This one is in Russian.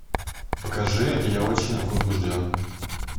покажи я очень возбужден